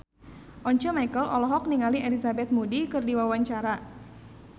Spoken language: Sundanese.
Once Mekel olohok ningali Elizabeth Moody keur diwawancara